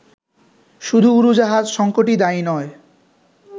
শুধু উড়োজাহাজ সঙ্কটই দায়ী নয়